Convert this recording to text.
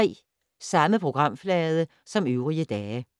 Samme programflade som øvrige dage